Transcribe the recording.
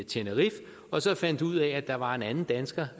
tenerife og så fandt ud af at der var en anden dansker